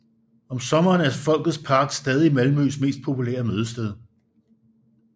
Om sommeren er Folkets Park stadig Malmøs mest populære mødested